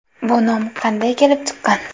Bu nom qanday kelib chiqqan?